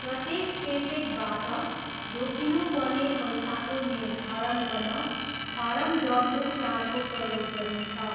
प्रत्येक पेचेकबाट रोकिनुपर्ने पैसाको निर्धारण गर्न फारम डब्ल्यू चारको प्रयोग गरिन्छ।